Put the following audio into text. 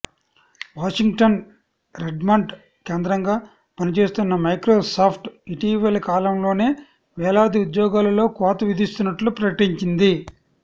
Washington Redmond కేంద్రంగా పనిచేస్తున్న Microsoft ఇటీవలికాలంలోనే వేలాది ఉద్యోగాలలో కోత విధిస్తున్నట్లు ప్రకటించింది